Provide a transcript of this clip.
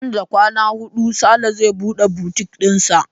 Nan da kwana hudu Sale zai buɗe butik ɗisa.